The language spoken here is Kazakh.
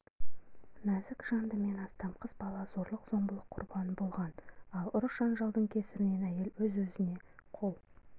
нәзік жанды мен астам қыз бала зорлық-зомбылық құрбаны болған ал ұрыс-жанжалдың кесірінен әйел өз-өзіне қол